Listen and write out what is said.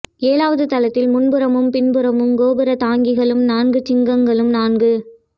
ஏழாவது தளத்தில் முன்புறமும் பின் புறமும் கோபுர தாங்கிகளும் நான்கு சிங்கங்களும் நான்கு